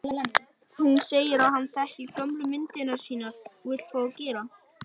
Hún segir að hann þekki gömlu myndirnar sínar og vill fá að gera